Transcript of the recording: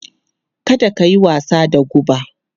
Kada ka yi wasa da guba!